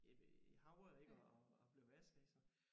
I i havet ik og og blev vasket ik så